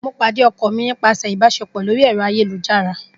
Mo pade ọkọ mi nipasẹ online ibaṣepọ.